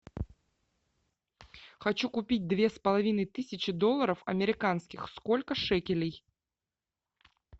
хочу купить две с половиной тысячи долларов американских сколько шекелей